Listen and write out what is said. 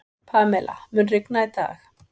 Pamela, mun rigna í dag?